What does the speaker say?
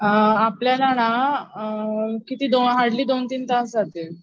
अअ आपल्याला ना किती दो अअ हार्डली दोन तीन तास लागतील.